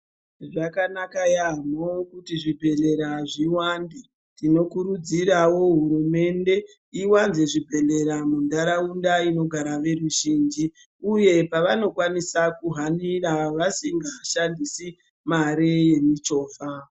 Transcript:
Zvakanaka yambo kuti zvibhedhlera zviwande tinokudzirawo hurumende iwanze zvibhedhlera munharaunda zvekugara veruzhinji uye kwavanokwanisa kuhanira vasingashandisi mare chovha.